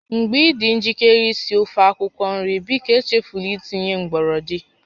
Mgbe ị dị njikere isi ofe akwukwo nri, biko echefula itinye gbọrọndị